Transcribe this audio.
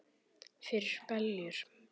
Fyrir beljur?